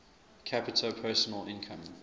capita personal income